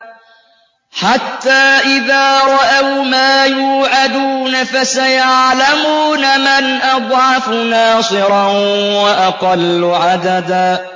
حَتَّىٰ إِذَا رَأَوْا مَا يُوعَدُونَ فَسَيَعْلَمُونَ مَنْ أَضْعَفُ نَاصِرًا وَأَقَلُّ عَدَدًا